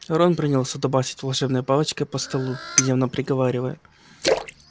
рон принялся дубасить волшебной палочкой по столу гневно приговаривая